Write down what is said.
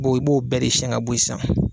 Bon i b'o bɛɛ de siɲan ka bɔ sisan.